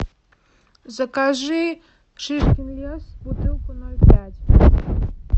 закажи шишкин лес бутылку ноль пять